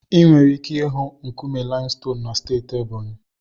Ị nwere ike ịhụ nkume limestone na steeti Ebonyi.